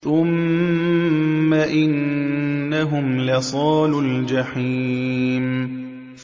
ثُمَّ إِنَّهُمْ لَصَالُو الْجَحِيمِ